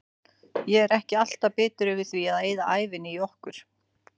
Ég er ekki alltaf bitur yfir því að eyða ævinni í okkur.